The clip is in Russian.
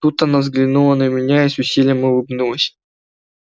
тут она взглянула на меня и с усилием улыбнулась